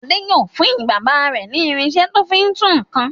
Adé yóò fún bàbá rẹ̀ ní irinṣẹ́ tó fi ń tú nǹkan.